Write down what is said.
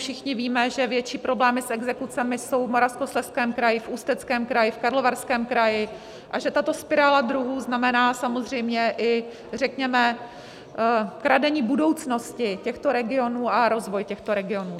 Všichni víme, že větší problémy s exekucemi jsou v Moravskoslezském kraji, v Ústeckém kraji, v Karlovarském kraji a že tato spirála dluhů znamená samozřejmě i řekněme kradení budoucnosti těchto regionů a rozvoj těchto regionů.